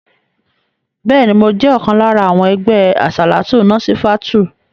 Bẹ́ẹ̀ni, mo jẹ́ ọ̀kan lára àwọn ẹgbẹ́ àsàlátù Násífátùù.